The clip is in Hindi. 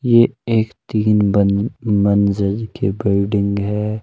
ये एक तीन मन मंज़िल की बिल्डिंग है।